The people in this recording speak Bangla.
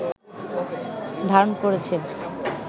ধারণ করেছে